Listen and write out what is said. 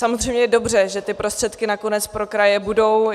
Samozřejmě je dobře, že ty prostředky nakonec pro kraje budou.